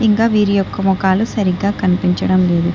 ఇంకా వీరి యొక్క మోకాలు సరిగ్గా కనిపించడం లేదు.